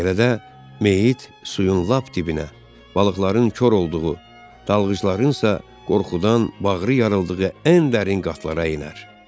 Belə də meyyit suyun lap dibinə, balıqların kor olduğu, dalğıclarınsa qorxudan bağrı yarıldığı ən dərin qatlara enər.